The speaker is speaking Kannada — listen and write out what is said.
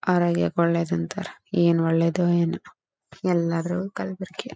ಆರೋಗ್ಯಕ್ಕೆ ಒಳ್ಳೇದು ಅಂತಾರೆ ಏನ್ ಒಳ್ಳೇದೋ ಏನೋ ಎಲ್ಲಾದ್ರಗೂ ಕಲಬೆರಿಕೆಯ.